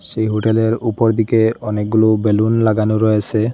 সেই হোটেলের উপর দিকে অনেকগুলো বেলুন লাগানো রয়েসে ।